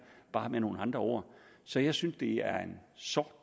bare med nogle andre ord så jeg synes at det er en sort